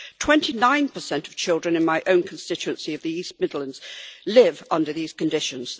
Twenty nine per cent of children in my own constituency of the East Midlands live under these conditions.